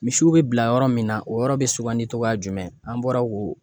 Misiw be bila yɔrɔ min na o yɔrɔ be sugandi cogoya jumɛn ? An bɔra k'o